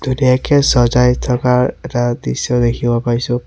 ধুনীয়াকে সজাই থকাৰ এটা দৃশ্য দেখিব পাইছোঁ।